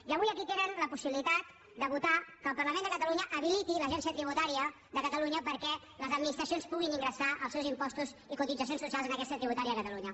i avui aquí tenen la possibilitat de votar que el parlament de catalunya habiliti l’agència tributària de catalunya perquè les administracions puguin ingressar els seus impostos i cotitzacions socials en aquesta agència tributària de catalunya